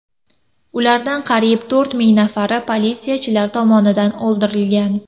Ulardan qariyb to‘rt ming nafari politsiyachilar tomonidan o‘ldirilgan.